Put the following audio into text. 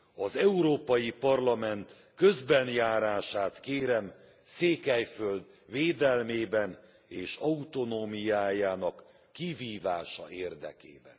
Az Európai Parlament közbenjárását kérem Székelyföld védelmében és autonómiájának kivívása érdekében.